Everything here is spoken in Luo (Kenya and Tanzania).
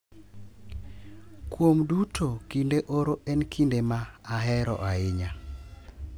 Kuom duto, kinde oro en kinde ma ahero ahinya